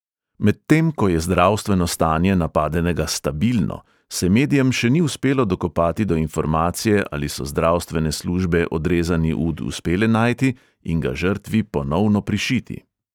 Medtem ko je zdravstveno stanje napadenega "stabilno", se medijem še ni uspelo dokopati do informacije, ali so zdravstvene službe odrezani ud uspele najti in ga žrtvi ponovno prišiti.